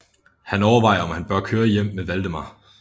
Han overvejer om han bør køre hjem med Waldemar